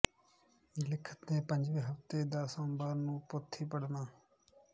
ਲਿਖਤ ਦੇ ਪੰਜਵੇਂ ਹਫ਼ਤੇ ਦੇ ਸੋਮਵਾਰ ਨੂੰ ਪੋਥੀ ਪੜ੍ਹਨਾ